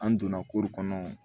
An donna kɔnɔ